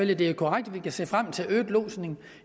det er korrekt at vi kan se frem til øget lodsning